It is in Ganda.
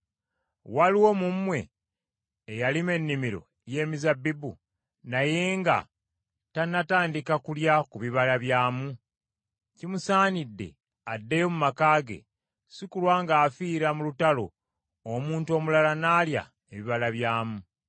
Waliwo mu mmwe eyalima ennimiro y’emizabbibu naye nga tannatandika kulya ku bibala byamu? Kimusaanidde addeyo mu maka ge, si kulwa ng’afiira mu lutalo, omuntu omulala n’alya ebibala byamu.